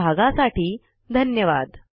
सहभागासाठी धन्यवाद